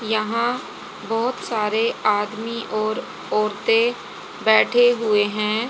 यहां बहोत सारे आदमी और औरतें बैठे हुए हैं।